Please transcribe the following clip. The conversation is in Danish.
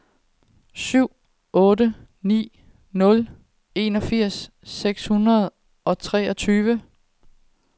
syv otte ni nul enogfirs seks hundrede og treogtyve